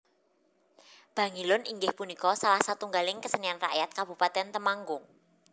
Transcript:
Bangilun inggih punika salah satunggaling kesenian rakyat Kabupatén Temnggung